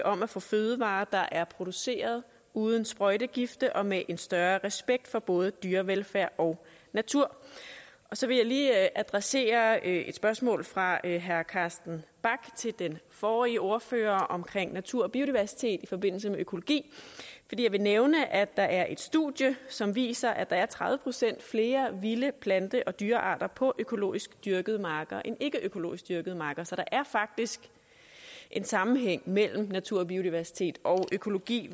om at få fødevarer der er produceret uden sprøjtegifte og med en større respekt for både dyrevelfærd og natur så vil jeg lige adressere et spørgsmål fra herre carsten bach til den forrige ordfører om natur og biodiversitet i forbindelse med økologi jeg vil nævne at der er et studie som viser at der er tredive procent flere vilde plante og dyrearter på økologisk dyrkede marker end ikkeøkologisk dyrkede marker så der er faktisk en sammenhæng mellem natur og biodiversitet og økologi